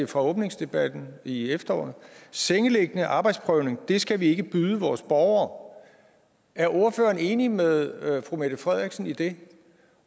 fra åbningsdebatten i efteråret sengeliggende arbejdsprøvning dét skal vi ikke byde vores borgere er ordføreren enig med fru mette frederiksen i det